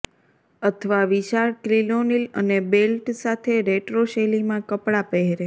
અથવા વિશાળ ક્રિનોલિન અને બેલ્ટ સાથે રેટ્રો શૈલીમાં કપડાં પહેરે